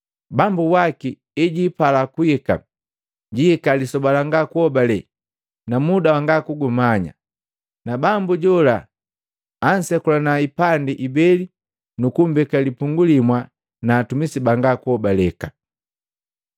Bambu waki hejiipala kuhika, jiika lisoba langa kuobale na muda wanga kugumanya. Na bambu jola ansekulana hipandi ibeli nukummbeka lipungu limu na hatumisi banga kuhobaleka.